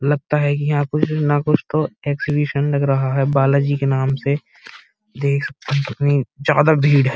लगता है कि यहाँ कुछ ना कुछ तो एक्सहिबिशन लग रहा है बालाजी के नाम से देख सकते हैं कितनी ज्यादा भीड़ है।